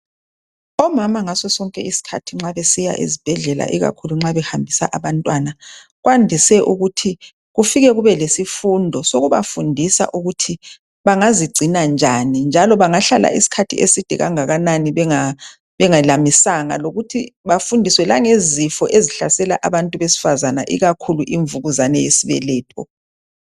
Omama ngaso sonke isikhathi nxa besiye ezibhedlela ikakhulu nxa behambisa abantwana. Kwandise ukuthi kufike kube lesifundo sokubafundisa ukuthi bangazigcina njani njalo bangahlalela isikhathi eside kangakanani bengelamisanga. Lokuthi bafundiswe langezifo ezihlasela abantu besifazana ikakhulu imvukuzane yesibeletho.